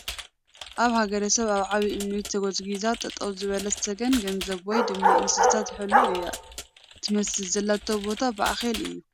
ኣብ ሓገረሰብ ኣብ ዓብይ እንኒ ተጎዝጊዛ ጠጠው ዝበለት ሰገን ገንዘብ ወይ ድማ እንስሳ ትሕሉ እያ ትመስል ዘላቶ ቦታ ባዕኼል እዩ ።